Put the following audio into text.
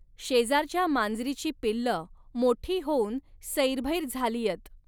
शेजारच्या मांजरीची पिल्लं मोठी होऊन सैरभैर झालीयत